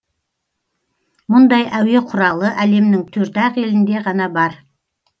мұндай әуе құралы әлемнің төрт ақ елінде ғана бар